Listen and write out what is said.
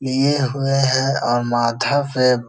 लिए हुए हैं और माथा पे --